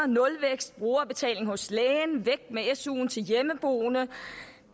nulvækst og brugerbetaling hos lægen og væk med suen til hjemmeboende